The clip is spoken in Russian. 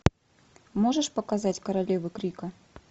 можешь показать королевы крика